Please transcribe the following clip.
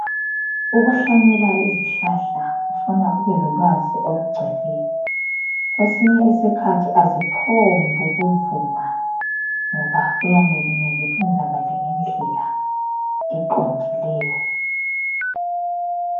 Ukuhlanyela izihlahla kufuna ubelolwazi olugcweleyo. Kwesinye isikhathi aziphombukuvuma ngoba kuyabe kumele kwenzakale ngendlela eqondileyo.